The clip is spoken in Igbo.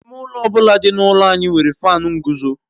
Ime ụlọ ọ bụla dị n'ụlọ anyị nwere Faanu nguzo